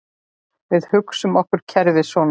Við hugsum okkur kerfið svona